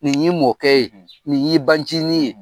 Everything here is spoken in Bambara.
Nin y'i mɔkɛ ye, nin y'i bancinin ye.